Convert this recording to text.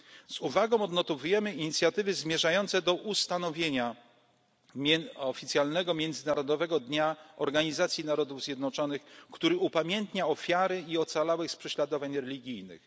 finansowej. Z uwagą odnotowujemy inicjatywy zmierzające do ustanowienia oficjalnego Międzynarodowego Dnia Organizacji Narodów Zjednoczonych, który upamiętnia ofiary i ocalałych z prześladowań